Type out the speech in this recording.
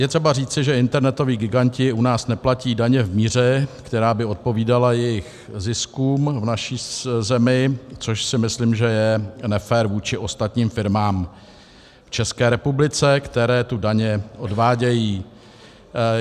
Je třeba říci, že internetoví giganti u nás neplatí daně v míře, která by odpovídala jejich ziskům v naší zemi, což si myslím, že je nefér vůči ostatním firmám v České republice, které tu daně odvádějí.